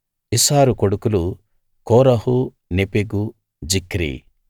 ఇస్హారు కొడుకులు Korah Nepheg Zichri